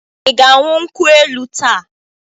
Ị ga-aṅụ nkwụ elu taa?